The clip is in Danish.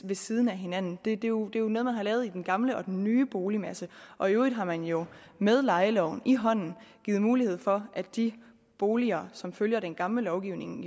ved siden af hinanden det er jo jo noget man har lavet i den gamle og den nye boligmasse og i øvrigt har man jo med lejeloven i hånden givet mulighed for at de boliger som følger den gamle lovgivning